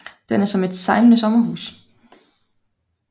Den er som et sejlende sommerhus